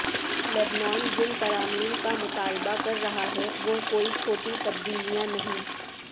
لبنان جن ترامیم کا مطالبہ کر رہا ہے وہ کوئی چھوٹی تبدیلیاں نہیں